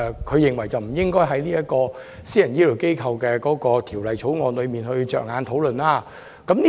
他認為護養院不應是《私營醫療機構條例草案》的討論焦點。